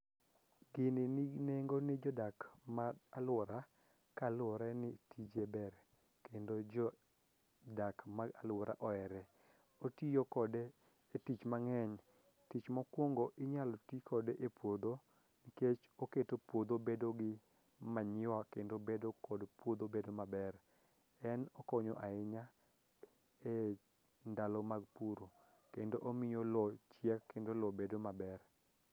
Gini nigi nengo ne jodak ma alwora kaluwore ni tije ber kendo jodak ma alwora ohere, otiyo kode e tich mang'eny, tich mokwongo inyalo ti kode e puodho nikech oketo puodho bedo gi manyiwa kendo bedo kod puodho bedo maber, en okonyo ahinya e ndalo mag puro kendo omiyo lo chiek kendo lo bedo maber.